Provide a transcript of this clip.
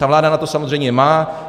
Ta vláda na to samozřejmě má.